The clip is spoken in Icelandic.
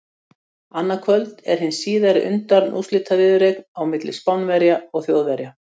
Annað kvöld er síðan hin undanúrslitaviðureignin á milli Spánverja og Þjóðverja.